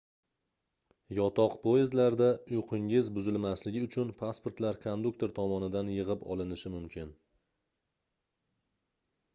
yotoq poyezdlarda uyqungiz buzilmasligi uchun pasportlar konduktor tomonidan yigʻib olinishi mumkin